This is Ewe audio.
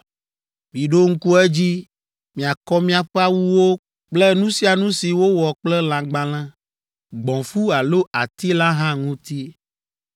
Miɖo ŋku edzi miakɔ miaƒe awuwo kple nu sia nu si wowɔ kple lãgbalẽ, gbɔ̃fu alo ati la hã ŋuti.”